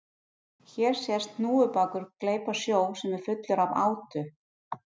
Hér sést hnúfubakur gleypa sjó sem er fullur af átu.